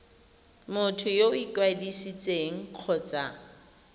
motho yo o ikwadisitseng kgotsa